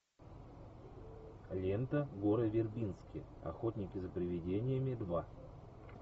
лента гора вербински охотники за привидениями два